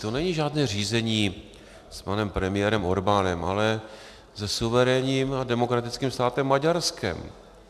To není žádné řízení s panem premiérem Orbánem, ale se suverénním a demokratickým státem Maďarskem.